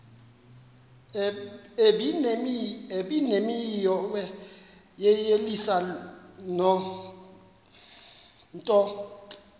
ebimenyiwe yeyeliso lo